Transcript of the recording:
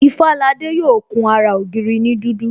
Ifalade yo kun ara ògiri ni dudu